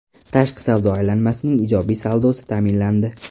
Tashqi savdo aylanmasining ijobiy saldosi ta’minlandi.